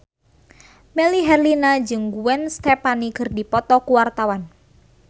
Melly Herlina jeung Gwen Stefani keur dipoto ku wartawan